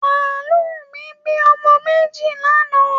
Màálù mi bí ọmọ méjì lánàá